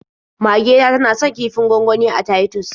Mage ta tana son kifin gwangwani na Titus.